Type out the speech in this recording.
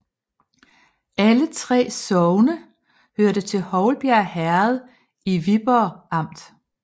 Alle 3 sogne hørte til Houlbjerg Herred i Viborg Amt